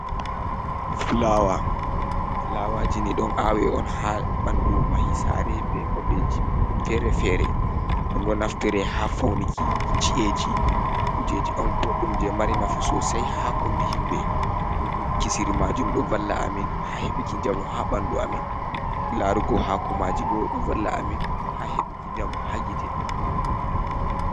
Flawa. Flawaji ni ɗon awe on ha ɓandu mahi sare be babeji fere-fere ɗum ɗo naftire ha faunuki chi’eji. Kujeji on boɗɗum je mari nafu sosai ha kombi himɓe, kisiri majum ɗo valla amin ha heɓuki njamu ha ɓandu amin, larugo hakomaji bo ɗo valla amin ha heɓuki njamu ha gite.